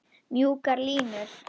Mjúkar línur.